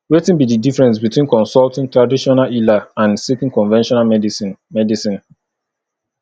wetin be di difference between consulting traditional healer and seeking conventional medicine medicine